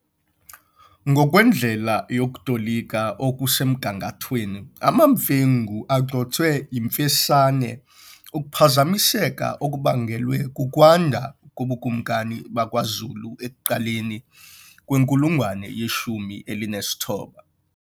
Ngokwendlela yokutolika okusemgangathweni, amaMfengu agxothwe yiMfesane, ukuphazamiseka okubangelwe kukwanda kobukumkani bakwaZulu ekuqaleni kwenkulungwane yeshumi elinesithoba.